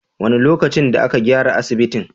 Wane lokacin da aka gyara asibitin?